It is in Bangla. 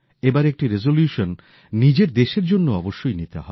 এবার একটি রেজলিউশন নিজের দেশের জন্যও অবশ্যই নিতে হবে